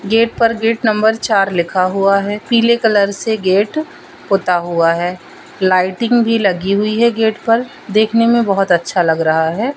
Gate पर gate number चार लिखा हुआ है पीले कलर से गेट पोता हुआ है लाइटिंग भी लगी हुई है गेट पर देखने में बहुत अच्छा लग रहा है।